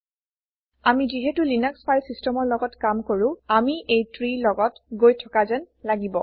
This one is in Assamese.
আমি যিহেটো লিনাক্স ফাইল systemৰ লগত কাম কৰো আমি এই ত্ৰী লগত গৈ থকাযেন লাগিব